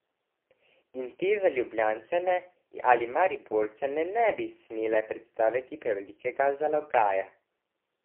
In te za Ljubljančane ali Mariborčane ne bi smele predstavljati prevelikega zalogaja ...